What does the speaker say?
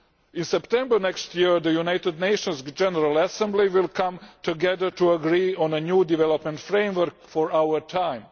In September next year the United Nations General Assembly will come together to agree on a new development framework for our time.